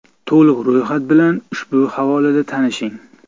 To‘liq ro‘yxat bilan ushbu havolada tanishing.